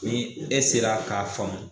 Ni e sera k'a faamu